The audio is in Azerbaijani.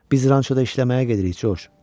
Biz rançoda işləməyə gedirik, Coç.